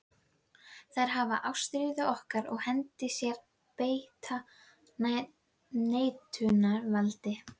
Þær hafa ástríður okkar í hendi sér og beita neitunarvaldi.